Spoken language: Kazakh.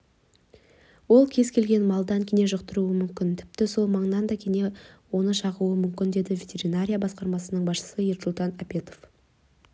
ол кез келген малдан кене жұқтыруы мүмкін тіпті сол маңнан да кене оны шағуы мүмкін деді ветеринария басқармасының бастығы ерсултан апетов